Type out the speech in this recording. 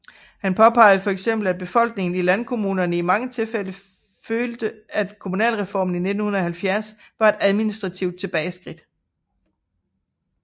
Han påpegede for eksempel at befolkningen i landkommunerne i mange tilfælde følte at Kommunalreformen i 1970 var et administrativt tilbageskridt